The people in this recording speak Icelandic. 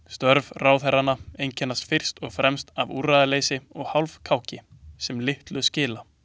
Störf ráðherranna einkennast fyrst og fremst af úrræðaleysi og hálfkáki sem litlu skila.